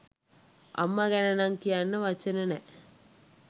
අම්මා ගැනනම් කියන්න වචන නෑ !